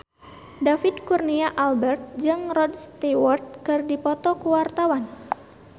David Kurnia Albert jeung Rod Stewart keur dipoto ku wartawan